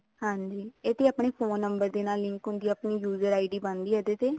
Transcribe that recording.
ਹਾਂਜੀ ਇਹ ਵੀ ਆਪਣੇ phone number ਦੇ ਨਾਲ link ਹੁੰਦਾ ਆਪਣੀ user ID ਬਣਦੀ ਹੈ ਇਹਦੇ ਤੇ